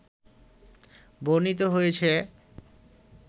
বর্ণিত হয়েছে